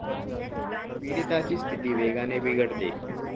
पीडिताची स्थिती वेगाने बिघडते.